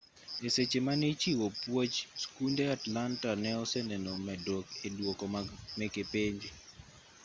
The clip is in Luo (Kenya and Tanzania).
e seche mane ichiwo puoch skunde atlanta ne oseneno medruok e duoko meke penj